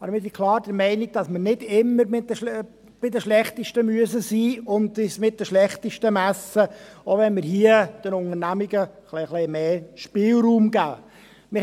Aber ich bin klar der Meinung, dass wir nicht immer bei den Schlechtesten sein müssen und uns nicht immer mit den Schlechtesten messen müssen, auch wenn wir hier den Unternehmungen etwas mehr Spielraum geben.